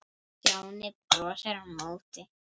Stjáni brosti á móti.